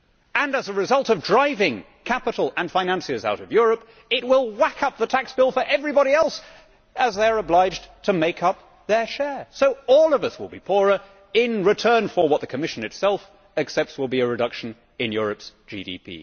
And as a result of driving capital and financiers out of Europe, it will whack up the tax bill for everybody else as they are obliged to make up their share, so all of us will be poorer in return for what the Commission itself accepts will be a reduction in Europe's GDP.